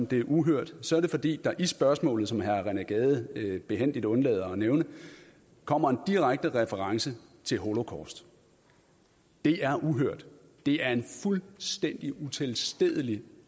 det er uhørt så er det fordi der i spørgsmålet som herre rené gade behændigt undlader at nævne kommer en direkte reference til holocaust det er uhørt det er en fuldstændig utilstedelig